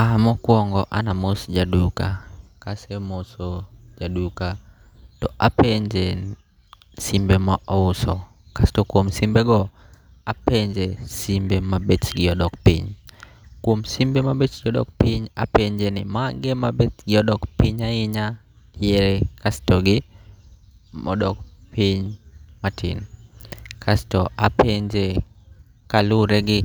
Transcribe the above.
Ah mokwongo anamos jaduka, kasemoso jaduka tapenje simbe ma ouso. Kasto kuom simbego, apenje simbe ma bechgi odok piny. Kuom simbe ma bechgi odok piny apenje ni magi e magi e ma bechgi odok piny ahinya, yie kasto gi modok piny matin. Kasto apenje kalure gi